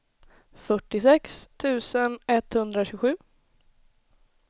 fyrtiosex tusen etthundratjugosju